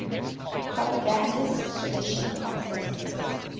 propagandist tradition consists